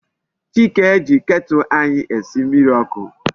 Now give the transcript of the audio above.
Chike ji Ketulu anyi esi mmiri oku